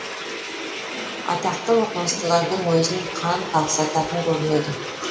атақты оқымыстылардың өзін қан қақсататын көрінеді